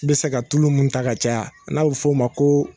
bɛ se ka tulu minnu ta ka caya n'a bɛ f'o o ma ko